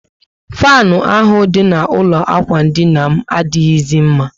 Fanu ahụ dị na ụlọ ikwụ dina m adighizi mma